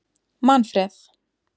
Manfreð